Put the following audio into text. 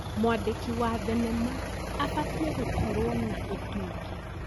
Mwandĩki wa thenema abatiĩ gũkorwo na ũtungi.